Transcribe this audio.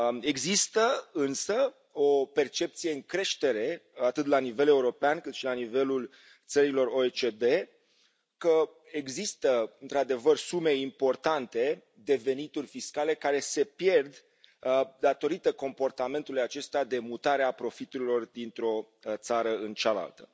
Există, însă, o percepție în creștere atât la nivel european, cât și la nivelul țărilor OECD că există, într adevăr, sume importante de venituri fiscale care se pierd datorită comportamentului acestuia de mutare a profiturilor dintr o țară în cealaltă.